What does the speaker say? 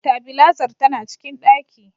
Tabilazar tana cikin ɗaki.